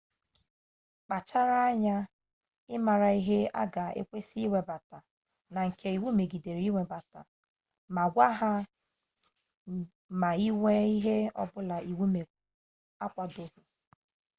kpachara anya ịmara ihe a ga-ekwe gị webata na nke iwu megidere ịwebata ma gwa ha ma ị nwee ihe ọbụla iwu akwadoghi